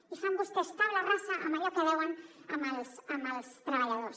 i fan vostès taula rasa amb allò que deuen als treballadors